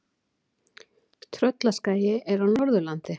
Tröllaskagi er á Norðurlandi.